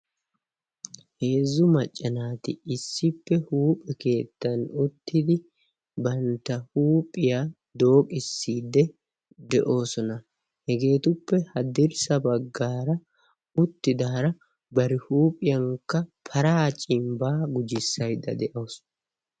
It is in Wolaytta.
Heezzu macca naati issippe huuphe keettan uttidi bantta huuphiya dooqissiiddii de'oosona. Hegeetuppe haddirssa bagaara uttidaara bari huuphiyankka paraa cimbbaa gujjissaydda de'awusu.